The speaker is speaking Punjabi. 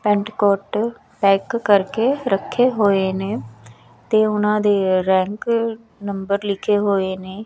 ਪੈਂਟਕੋਟ ਪੈਕ ਕਰਕੇ ਰੱਖੇ ਹੋਏ ਨੇ ਤੇ ਉਹਨਾਂ ਦੇ ਰੈਂਕ ਨੰਬਰ ਲਿਖੇ ਹੋਏ ਨੇ।